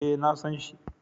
Eh, na san shi